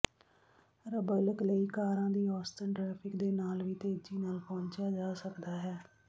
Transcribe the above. ਰੱਬਲਕ ਲਈ ਕਾਰਾਂ ਦੀ ਔਸਤਨ ਟ੍ਰੈਫਿਕ ਦੇ ਨਾਲ ਵੀ ਤੇਜ਼ੀ ਨਾਲ ਪਹੁੰਚਿਆ ਜਾ ਸਕਦਾ ਹੈ